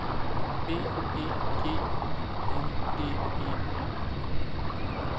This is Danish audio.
B E G Y N D E